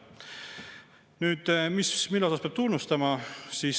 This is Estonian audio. Nüüd see, mida peab tunnustama.